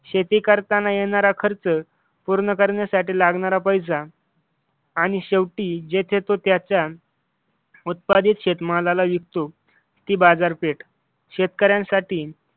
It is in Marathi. शेती करताना येणारा खर्च पूर्ण करण्यासाठी लागणारा पैसा आणि शेवटी जेथे तो त्याच्या उत्पादित शेतमाला होतो ती बाजारपेठ